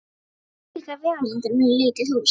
Og þvílíkar vegalengdir um lítið hús.